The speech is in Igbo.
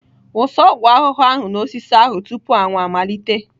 Wụsa ọgwụ ahụhụ ahụ n'osisi ahụ tupu anwụ anwụ amalite!